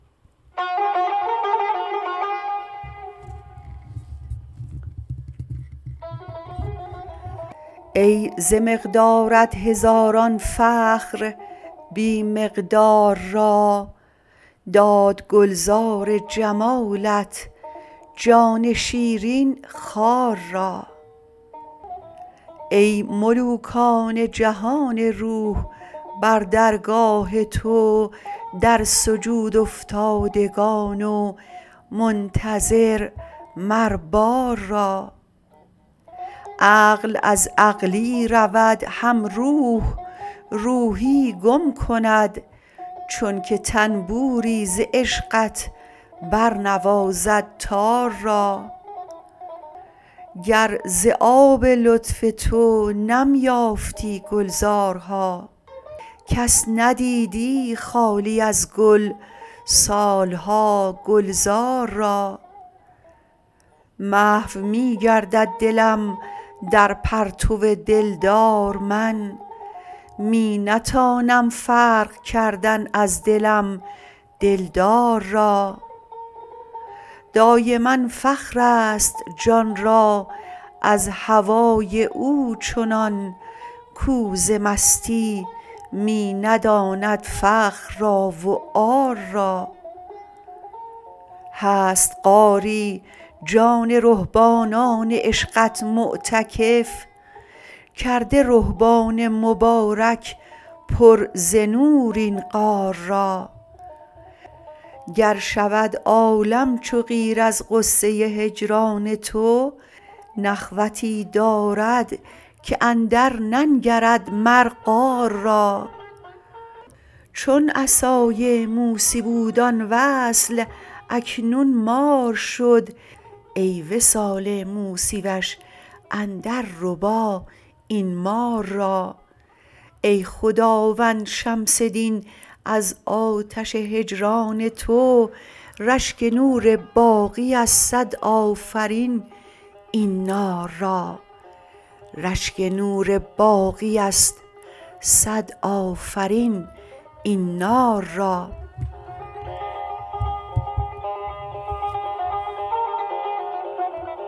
ای ز مقدارت هزاران فخر بی مقدار را داد گلزار جمالت جان شیرین خار را ای ملوکان جهان روح بر درگاه تو در سجودافتادگان و منتظر مر بار را عقل از عقلی رود هم روح روحی گم کند چونک طنبوری ز عشقت برنوازد تار را گر ز آب لطف تو نم یافتی گلزارها کس ندیدی خالی از گل سال ها گلزار را محو می گردد دلم در پرتو دلدار من می نتانم فرق کردن از دلم دلدار را دایما فخرست جان را از هوای او چنان کو ز مستی می نداند فخر را و عار را هست غاری جان رهبانان عشقت معتکف کرده رهبان مبارک پر ز نور این غار را گر شود عالم چو قیر از غصه هجران تو نخوتی دارد که اندرننگرد مر قار را چون عصای موسی بود آن وصل اکنون مار شد ای وصال موسی وش اندرربا این مار را ای خداوند شمس دین از آتش هجران تو رشک نور باقی ست صد آفرین این نار را